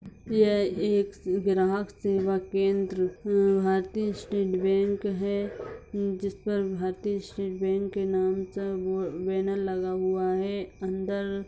यह एक ग्राहक सेवा केन्द्र भारतीय स्टेट बैंक है जिस पर भारतीय स्टेट बैंक के नाम का बो बैनर लगा हुआ है अन्दर --